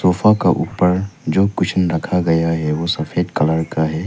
Sofa का ऊपर जो कुशन रखा गया है वो सफेद कलर का है।